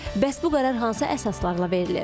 Bəs bu qərar hansı əsaslarla verilir?